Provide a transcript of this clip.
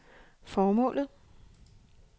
formålet